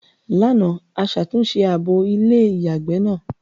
Lánàá, a ṣàtúnṣe abọ́ ilé-ìyàgbẹ́ náà.